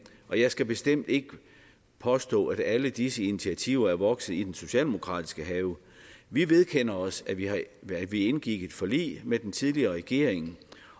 og jeg skal bestemt ikke påstå at alle disse initiativer er vokset i den socialdemokratiske have vi vedkender os at vi indgik et forlig med den tidligere regering